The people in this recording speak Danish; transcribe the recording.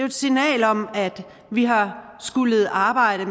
et signal om at vi har skullet arbejde